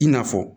I n'a fɔ